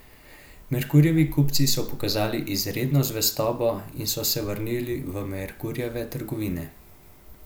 Merkurjevi kupci so pokazali izredno zvestobo in so se vrnili v Merkurjeve trgovine.